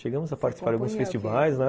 Chegamos a participar de alguns festivais, né?